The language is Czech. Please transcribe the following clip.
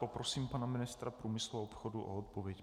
Poprosím pana ministra průmyslu a obchodu o odpověď.